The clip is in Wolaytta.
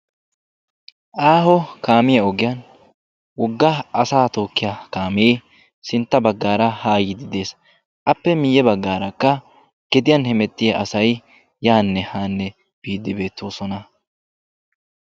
Aaho kaamiya ogiyan wogga asa tookkiya kaamee sintta baggaara haa yiidi de'es. Appe miyye baggaarakka gediyan hemettiya asay yaanne haanne biiddi beettoosona.